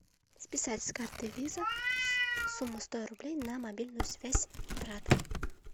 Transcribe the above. списать с карты виза сумма сто рублей на мобильную связь брата